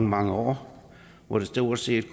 mange år hvor der stort set